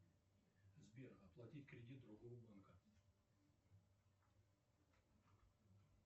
сбер оплатить кредит другого банка